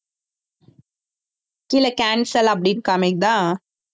கீழே cancel அப்படின்னு காமிக்குதா